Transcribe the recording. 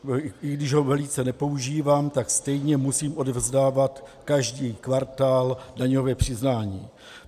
I když ho velice nepoužívám, tak stejně musím odevzdávat každý kvartál daňové přiznání.